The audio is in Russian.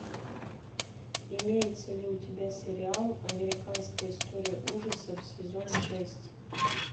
имеется ли у тебя сериал американская история ужасов сезон шесть